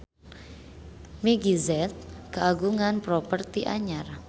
Meggie Z kagungan properti anyar